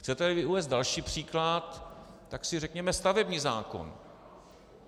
Chcete-li uvést další příklad, tak si řekněme stavební zákon.